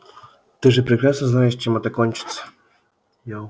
ты же прекрасно знаешь чем это кончится